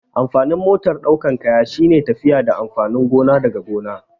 Amfanin motar ɗaukan kaya shine tafiya da amfanin gona daga gona